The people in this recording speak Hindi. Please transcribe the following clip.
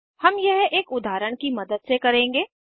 हम यह एक उदाहरण की मदद से करेंगे